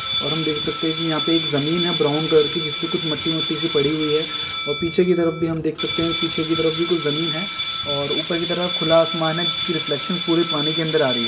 और हम देख सकते है की यहाँ पे एक जमीन है ब्राउन कलर की जिस पे कुछ मट्टी मट्टी सी पड़ी हुई है और पीछे की तरफ भी हम देख सकते है पीछे की तरफ कुछ जमीन है और ऊपर की तरफ खुला आसमान है जिसकी रिफ्लेक्शन पूरे पानी की अंदर आ रही है।